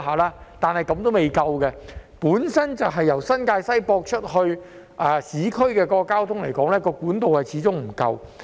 不過，這樣仍然未足夠，由新界西接駁到市區的交通始終不足夠。